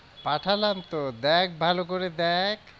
পাঠালাম তো দেখ ভালো করে দেখ।